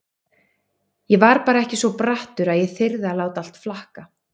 Ég var bara ekki svo brattur að ég þyrði að láta allt flakka.